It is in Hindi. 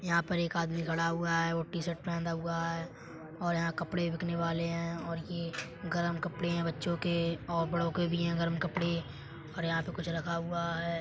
यहाँ पर एक आदमी खड़ा हुआ है वो टी -शर्ट पहना हुआ है और यहाँ कपड़े बिकने वाले हैं और ये गरम कपड़े हैं बच्चों के और बड़ों के भी हैं गरम कपड़े और यहाँ पर कुछ रखा हुआ है।